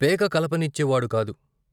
పేక కలపనిచ్చే వాడు కాదు.